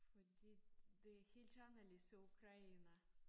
Fordi det helt anderledes i Ukraine